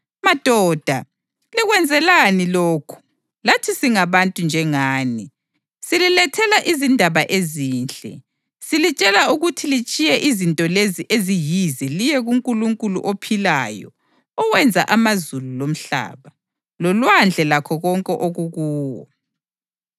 “Madoda, likwenzelani lokhu? Lathi singabantu njengani. Sililethela izindaba ezinhle, silitshela ukuthi litshiye izinto lezi eziyize liye kuNkulunkulu ophilayo owenza amazulu lomhlaba, lolwandle lakho konke okukuwo.